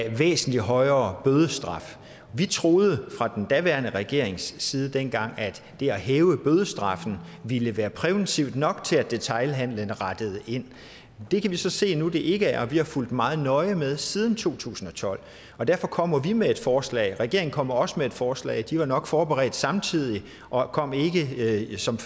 en væsentligt højere bødestraf vi troede fra den daværende regerings side dengang at det at hæve bødestraffen ville være præventivt nok til at detailhandelen rettede ind det kan vi så se nu det ikke er og vi har fulgt meget nøje med siden to tusind og tolv og derfor kommer vi med et forslag regeringen kommer også med et forslag de er nok blevet forberedt samtidig og kommer ikke som